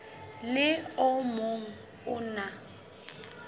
le o mong o na